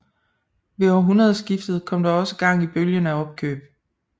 Ved århundredeskiftet kom der også gang i bølgen af opkøb